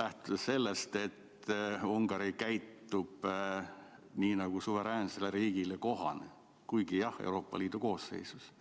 lähtudes sellest, et Ungari käitub nii nagu suveräänsele riigile kohane, kuigi jah, Euroopa Liidu koosseisus?